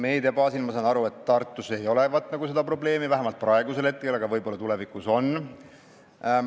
Meedia baasil saan ma aru, et Tartus ei olevat nagu seda probleemi, vähemalt praegu, aga võib-olla tulevikus on.